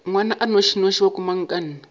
ngwana a nnošinoši wa komangkanna